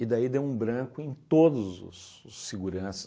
E daí deu um branco em todos os os seguranças.